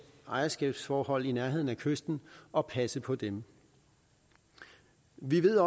ejerskabsforhold i nærheden af kysten og passe på dem vi ved